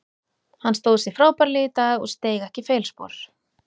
Hann stóð frábærlega í dag og steig ekki feilspor.